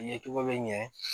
Ɲɛcogo bɛ ɲɛ